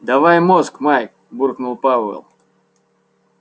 давай мозг майк буркнул пауэлл